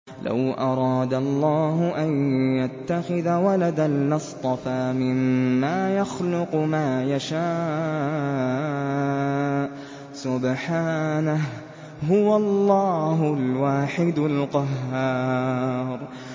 لَّوْ أَرَادَ اللَّهُ أَن يَتَّخِذَ وَلَدًا لَّاصْطَفَىٰ مِمَّا يَخْلُقُ مَا يَشَاءُ ۚ سُبْحَانَهُ ۖ هُوَ اللَّهُ الْوَاحِدُ الْقَهَّارُ